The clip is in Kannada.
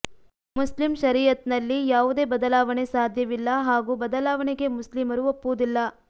ಮುಸ್ಲಿಂ ಶರೀಅತ್ ನಲ್ಲಿ ಯಾವುದೇ ಬದಲಾವಣೆ ಸಾಧ್ಯವಿಲ್ಲ ಹಾಗೂ ಬದಲಾವಣೆಗೆ ಮುಸ್ಲಿಮರು ಒಪ್ಪುವುದಿಲ್ಲ